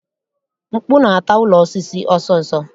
Mkpu na-ata ụlọ osisi ọsọọsọ